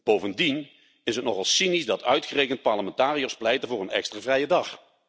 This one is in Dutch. Bovendien is het nogal cynisch dat uitgerekend parlementariërs pleiten voor een extra vrije dag.